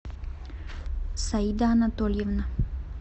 саида анатольевна